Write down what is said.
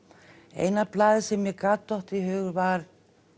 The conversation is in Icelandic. eina blaðið sem mér gat dottið í hug var